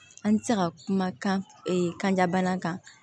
An bɛ se ka kuma kan kanja bana kan